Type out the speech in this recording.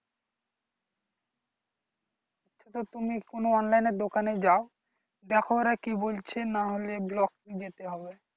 তো তুমি কোনো online নের দোকান এ যাও দেখো ওরা কি বলছে না হলে Block এ যেতে হবে